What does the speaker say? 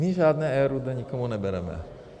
My žádné RUD nikomu nebereme.